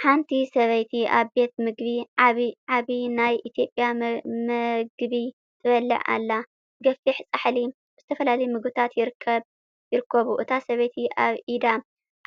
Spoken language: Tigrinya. ሓንቲ ሰበይቲ ኣብ ቤት ምግቢ ዓቢ ናይ ኢትዮጵያ መግቢ ትበልዕ ኣላ። ገፊሕ ጻሕሊ ብዝተፈላለዩ ምግብታት ይርከቡ። እታ ሰበይቲ ኣብ ኢዳ